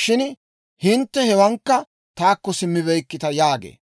shin hintte hewaankka taakko simmibeykkita» yaagee.